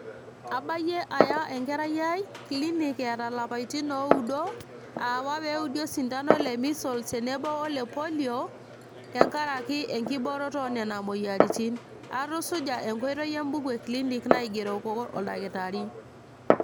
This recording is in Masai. abayie aya enkerai ai clinic etaa ilapaitin oudo awa peudi osindano le measeles tenebo ole polio tenkaraki enkiborooto onena moyiaritin . atusuja enkoitoi embuku e clinic naigeroko oldakitari.